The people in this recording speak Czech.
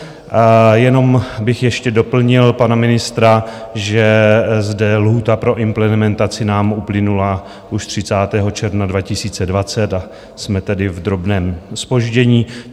Jenom bych ještě doplnil pana ministra, že zde lhůta pro implementaci nám uplynula už 30. června 2020, a jsme tedy v drobném zpoždění.